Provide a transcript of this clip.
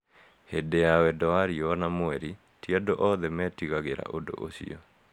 Hindĩ ya wendo wa riũa na mweri, ti andũ othe meetigagĩra ũndũ ũcio.